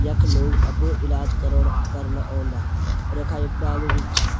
यख लोग अपड़ु इलाज करौण करना औंदा यखा एक डालू भी छा।